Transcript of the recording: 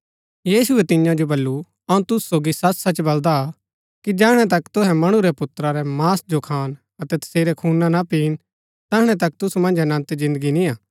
यीशुऐ तियां जो बल्लू अऊँ तुसु सोगी सचसच बलदा कि जैहणै तक तुहै मणु रै पुत्रा रै मांस जो खान अतै तसेरै खूना ना पिन तैहणै तक तुसु मन्ज अनन्त जिन्दगी निया